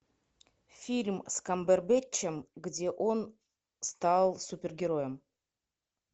фильм с камбербэтчем где он стал супергероем